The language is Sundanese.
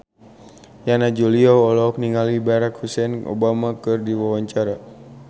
Yana Julio olohok ningali Barack Hussein Obama keur diwawancara